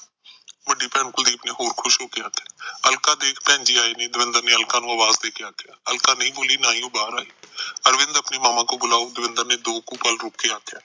ਵੱਡੀ ਭੈਣ ਕੁਲਦੀਪ ਨੇ ਹੋਰ ਖੁਸ਼ ਹੋ ਕੇ ਆਖਿਆ ਅਲਕਾ ਦੇਖ ਭੈਣਜੀ ਆਈ ਨੇ ਦਵਿੰਦਰ ਨੇ ਆਲਕਾ ਨੂੰ ਅਵਾਜ ਦੇ ਕੇ ਆਖਿਆ ਅਲਕਾ ਨਹੀਂ ਬੋਲੀ ਨਾ ਹੀ ਉਹ ਬਾਹਰ ਆਈ ਅਰਵਿੰਦ ਆਪਣੇ ਮਾਮਾ ਕੋ ਬੁਲਾਓ ਦਵਿੰਦਰ ਨੇ ਦੋ ਕੁ ਪਲ ਰੁਕ ਕੇ ਆਖਿਆ